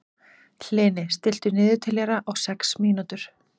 Hlini, stilltu niðurteljara á sex mínútur.